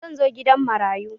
Zan zo gidan marayu